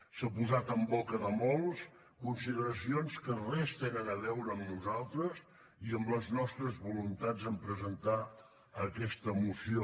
s’han posat en boca de molts consideracions que res tenen a veure amb nosaltres i amb les nostres voluntats en presentar aquesta moció